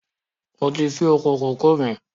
Mo ti fin oko kòkó míì